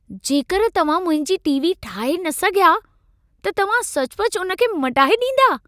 जेकर तव्हां मुंहिंजी टी.वी. ठाहे न सघिया, त तव्हां सचुपचु उन खे मटाए ॾींदा?